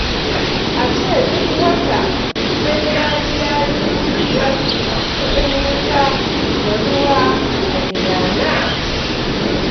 A ce duk wata sai na biya dubu biyar kuɗin wuta da ruwa a gidana?